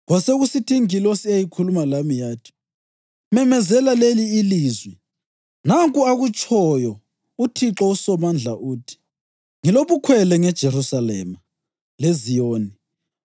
Kwasekusithi ingilosi eyayikhuluma lami yathi, “Memezela leli ilizwi: Nanku akutshoyo uThixo uSomandla, uthi: ‘Ngilobukhwele ngeJerusalema leZiyoni,